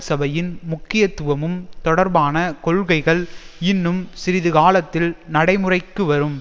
சபையின் முக்கியத்துவமும் தொர்பான கொள்கைகள் இன்னும் சிறிதுகாலத்தில் நடைமுறைக்கு வரும்